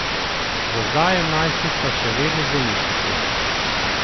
Za zdaj je najstnica še vedno v bolnišnici.